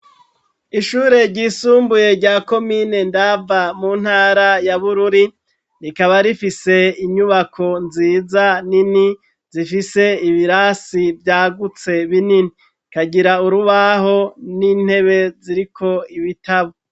Ishure ryisumbuye rya komine Ndava mu ntara ya Bururi rikaba rifise inyubako nziza nini zifise ibirasi vyagutse binini kagira urubaho n'intebe ziriko ibitabo.